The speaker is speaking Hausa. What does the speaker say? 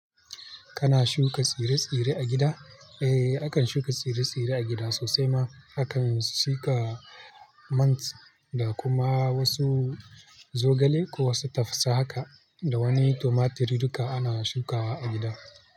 Kana shuka tsire-tsire a gida? Eh, akan shuka tsire-tsire a gida sosai ma. Akan shuka mint da kuma wasu zogale ko wasu tafsa haka da wani tumaturi duka ana shuka wa a gida.